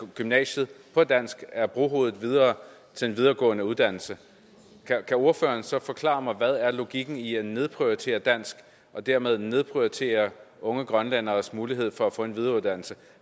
gymnasiet på dansk er brohovedet videre til en videregående uddannelse kan ordføreren så forklare mig hvad logikken er i at nedprioritere dansk og dermed nedprioritere unge grønlænderes muligheder for at få en videreuddannelse